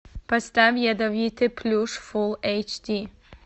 поставь ядовитый плющ фулл эйч ди